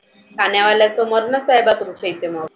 खाण्यावाल्याच मरनच आहे तुमच्या इथे मग.